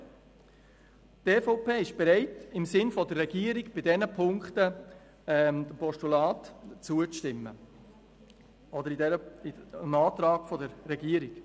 Die EVP ist bereit, im Sinne der Regierung bei diesen Ziffern Postulaten zuzustimmen respektive den Anträgen der Regierung.